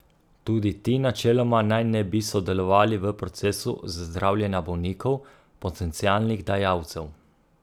Tudi ti načeloma naj ne bi sodelovali v procesu zdravljenja bolnikov, potencialnih dajalcev.